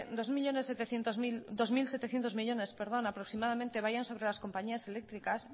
dos mil setecientos millónes aproximadamente vayan sobre las compañías eléctricas